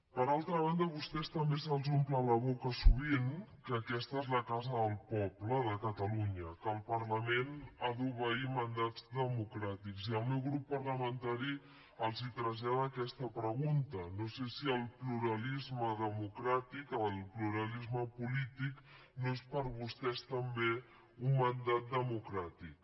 per altra banda a vostès també se’ls omple la boca sovint que aquesta és la casa del poble de catalunya que el parlament ha d’obeir mandats democràtics i el meu grup parlamentari els trasllada aquesta pregunta no sé si el pluralisme democràtic el pluralisme polític no és per vostès també un mandat democràtic